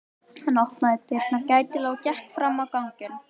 Hann opnaði dyrnar gætilega og gekk fram á ganginn.